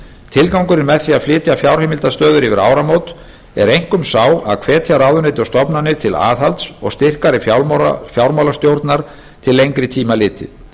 tilgangurinn með því að flytja fjárheimildastöður yfir áramót er einkum sá að hvetja ráðuneyti og stofnanir til aðhalds og styrkari fjármálastjórnar til lengri tíma litið